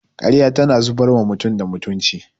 Karya tana zubar wa mutum da mutunci